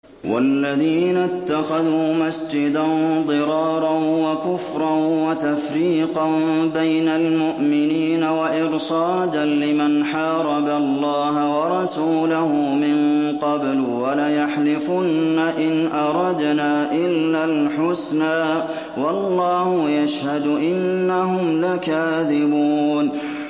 وَالَّذِينَ اتَّخَذُوا مَسْجِدًا ضِرَارًا وَكُفْرًا وَتَفْرِيقًا بَيْنَ الْمُؤْمِنِينَ وَإِرْصَادًا لِّمَنْ حَارَبَ اللَّهَ وَرَسُولَهُ مِن قَبْلُ ۚ وَلَيَحْلِفُنَّ إِنْ أَرَدْنَا إِلَّا الْحُسْنَىٰ ۖ وَاللَّهُ يَشْهَدُ إِنَّهُمْ لَكَاذِبُونَ